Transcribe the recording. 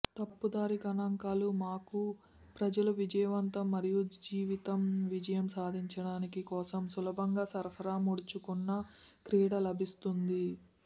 తప్పుదారి గణాంకాలు మాకు ప్రజలు విజయవంతం మరియు జీవితం విజయం సాధించటానికి కోసం సులభంగా సరఫరా ముడుచుకున్న క్రీడ లభిస్తుంది